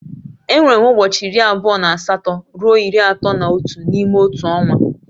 Enwere ụbọchị iri abụọ na asatọ ruo iri atọ na otu n'ime otu ọnwa